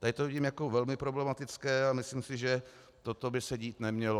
Tady to vidím jako velmi problematické a myslím si, že toto by se dít nemělo.